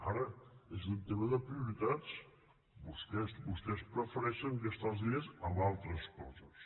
ara és un tema de prioritats vostès prefereixen gastar els diners en altres coses